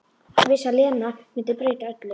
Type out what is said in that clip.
Vissi að Lena mundi breyta öllu.